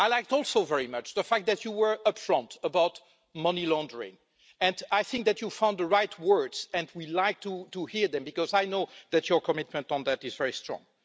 I liked also very much the fact that you were upfront about money laundering, and I think that you found the right words, and we like to hear them, because I know that your commitment on that is very strong.